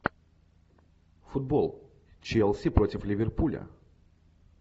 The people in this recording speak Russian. футбол челси против ливерпуля